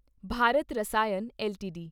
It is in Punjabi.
ਭਾਰਤ ਰਸਾਇਣ ਐੱਲਟੀਡੀ